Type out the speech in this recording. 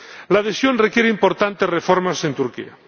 La adhesión requiere importantes reformas en Turquía.